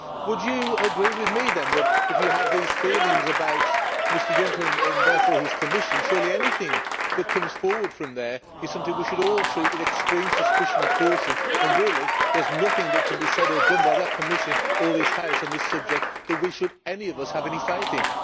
Would you agree with me then that, if you have these feelings about Mr Juncker and therefore his Commission, surely anything that comes forward from there is something we should all treat with extreme suspicion and caution and, really, there is nothing that can be said or done by that Commission or this House on this subject that any of us should have any faith in?